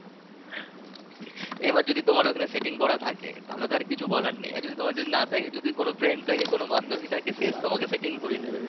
এবার যদি তোমার ওখানে setting করা থাকে তাহলে তো আর কিছু বলার নেই যদি তোমার না থাকে যদি কোন friend থাকে কোন বান্ধবী থাকে সে তোমাকে setting করিয়ে দেবে